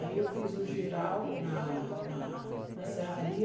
Aí eu fiz um giral na na na serraria.